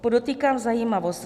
Podotýkám zajímavost.